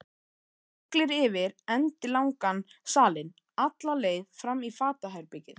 Siglir yfir endilangan salinn, alla leið fram í fatahengið.